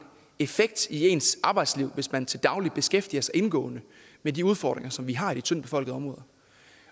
effekt i ens arbejdsliv hvis man til daglig beskæftiger sig indgående med de udfordringer som vi har i de tyndtbefolkede områder